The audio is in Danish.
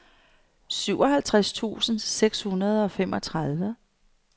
syvoghalvtreds tusind seks hundrede og femogtredive